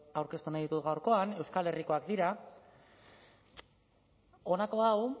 aurkeztu nahi ditut gaurkoan euskal herrikoak dira honako hau